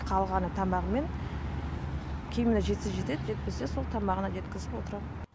қалғаны тамағы мен киіміне жетсе жетеді жетпесе сол тамағына жеткізіп отырам